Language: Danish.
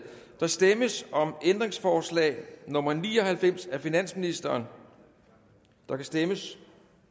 der stemmes om ændringsforslag nummer ni og halvfems af finansministeren der kan stemmes